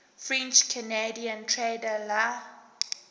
french canadian trader la